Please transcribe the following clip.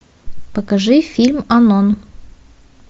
покажи фильм анон